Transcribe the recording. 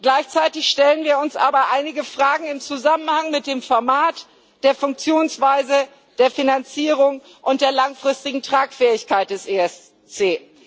Gleichzeitig stellen wir uns aber einige Fragen im Zusammenhang mit dem Format, der Funktionsweise, der Finanzierung und der langfristigen Tragfähigkeit des ESC.